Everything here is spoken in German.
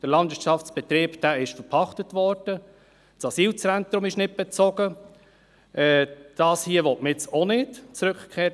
Der Landwirtschaftsbetrieb ist verpachtet worden, das Asylzentrum ist nicht bezogen, das Rückkehrzentrum will man nun auch nicht.